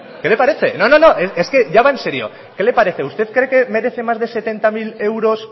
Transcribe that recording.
qué le parece no no es que ya va en serio qué le parece usted cree que merece más de setenta mil euros